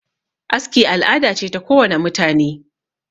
aski al'ada ce ta kowane mutane